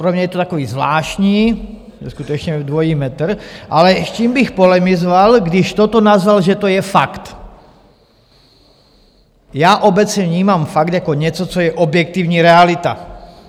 Pro mě je to takový zvláštní skutečně dvojí metr, ale s čím bych polemizoval, když toto nazval, že to je fakt - já obecně vnímám fakt jako něco, co je objektivní realita.